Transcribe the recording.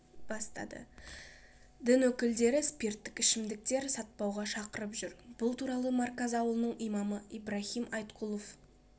бастады дін өкілдері спирттік ішімдіктер сатпауға шақырып жүр бұл туралы марказ ауылының имамы ибрахим айткулов